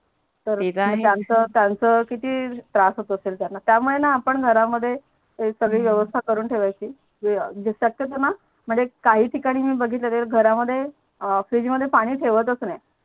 तर त्यांच ते तर आहे त्यांच किती त्रास होत असेल त्यांना त्यामूळेणा आपण घरामध्ये सगडी व्यवस्था करून ठेवाची म्हणजे शक्यतोणा म्हणजे काही ठिकाणी मी बगीतल ते घरामध्ये फ्रीज मध्ये पानी ठेवतच नाही